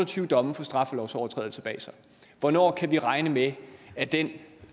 tyve domme for straffelovsovertrædelser bag sig hvornår kan vi regne med at det